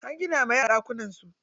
An gina wa yara ɗakunan su.